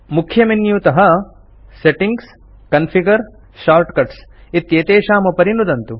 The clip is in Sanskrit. मुख्यमेन्यूतः सेटिंग्स् कॉन्फिगर शार्टकट्स् इत्येषामुपरि नुदन्तु